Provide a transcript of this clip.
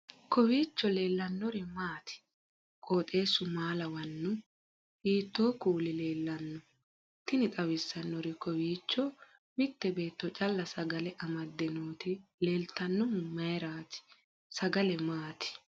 kowiicho leellannori maati ? qooxeessu maa lawaanno ? hiitoo kuuli leellanno ? tini xawissannori kowiicho mitte beetto calla sagale amadde nooti leeltannohu mayraati sagale maati